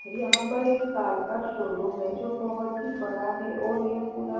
यहां पर एक कार का शोरूम है जो बहोत ही बड़ा है और ये पुरा--